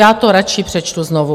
Já to radši přečtu znovu.